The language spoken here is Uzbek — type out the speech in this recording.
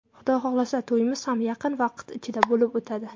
Xudo xohlasa, to‘yimiz ham yaqin vaqt ichida bo‘lib o‘tadi.